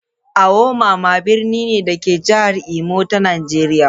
Awo mama birni ne, da ke a jihar Imo ta Najeriya.